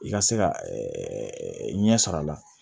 I ka se ka ɲɛ sɔrɔ a la